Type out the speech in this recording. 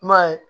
I m'a ye